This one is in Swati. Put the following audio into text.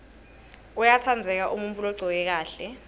uyatsandzeka umuntfu logcoke kahle